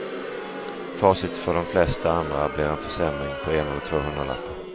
Facit för de flesta andra blir en försämring på en eller två hundralappar.